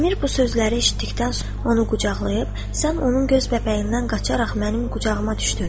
Əmir bu sözləri eşitdikdən sonra onu qucaqlayıb: Sən onun göz bəbəyindən qaçaraq mənim qucağıma düşdün.